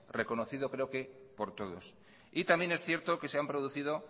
reconocido creo que por todos y también es cierto que se han producido